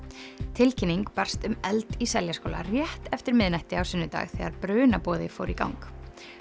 tilkynning barst um eld í Seljaskóla rétt eftir miðnætti á sunnudag þegar brunaboði fór í gang